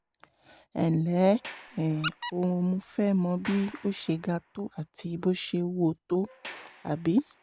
ẹnlẹ́ um o mo fẹ́ mọ bí ó ṣe ga tó àti bó ṣe wúwo tó um